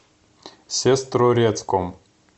сестрорецком